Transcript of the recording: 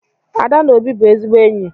Ada na Obi bụ ezigbo enyi.